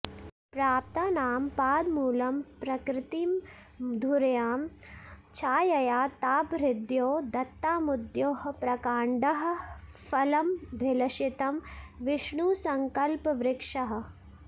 प्राप्तानां पादमूलं प्रकृतिमधुरया छायया तापहृद्वो दत्तामुद्दोःप्रकाण्डः फलमभिलषितं विष्णुसङ्कल्पवृक्षः